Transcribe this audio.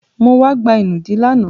Mo wá gba ìnùdí lánàá.